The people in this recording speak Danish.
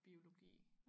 Biologi